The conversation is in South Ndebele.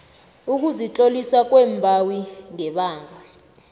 ukuzitlolisa kombawi ngebanga